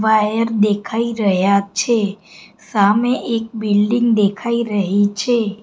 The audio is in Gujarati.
વાયર દેખાય રહ્યા છે સામે એક બિલ્ડીંગ દેખાય રહી છે.